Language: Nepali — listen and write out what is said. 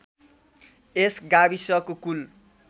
यस गाविसको कुल